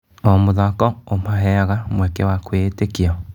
O mũthako ũmaheaga mweke wa kwĩĩtĩkia.